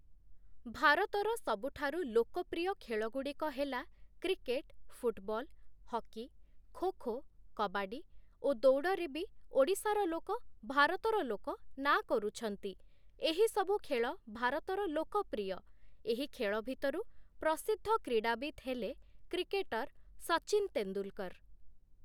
ଭାରତର ସବୁଠାରୁ ଲୋକପ୍ରିୟ ଖେଳଗୁଡ଼ିକ ହେଲା cricket, football, hockey, kho kho, kabaddi ଓ ଦୌଡ଼ରେ ବି ଓଡ଼ିଶାର ଲୋକ, ଭାରତର ଲୋକ ନାଁ କରୁଛନ୍ତି, ଏହିସବୁ ଖେଳ ଭାରତର ଲୋକପ୍ରିୟ, ଏହି ଖେଳ ଭିତରୁ ପ୍ରସିଦ୍ଧ କ୍ରୀଡ଼ାବିତ ହେଲେ କ୍ରିକେଟର ସଚିନ ତେନ୍ଦୁଲକର ।